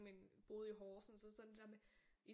Men boede i Horsens og så sådan det der med